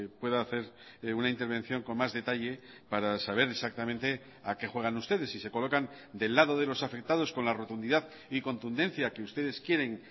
pueda hacer una intervención con más detalle para saber exactamente a qué juegan ustedes si se colocan del lado de los afectados con la rotundidad y contundencia que ustedes quieren